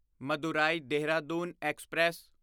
Madurai Dehradun express